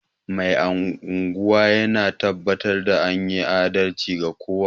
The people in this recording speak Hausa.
Mai unguwa yana tabbatar da anyi adalci ga kowa